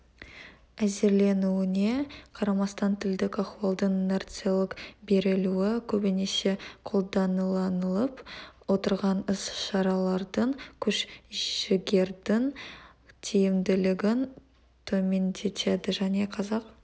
әзірленуіне қарамастан тілдік ахуалдың инерциялық берілуі көбінесе қолданыланылып отырған іс-шаралардың күш-жігердің тиімділігін төмендетеді және қазақ